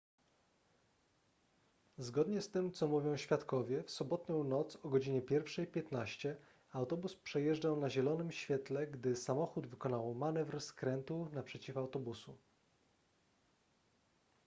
zgodnie z tym co mówią świadkowie w sobotnią noc o godzinie 1:15 autobus przejeżdżał na zielonym świetle gdy samochód wykonał manewr skrętu naprzeciw autobusu